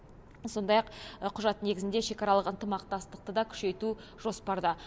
сондай ақ құжат негізінде шекаралық ынтымақтастықты да күшейту жоспарда